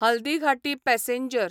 Haldighati passenger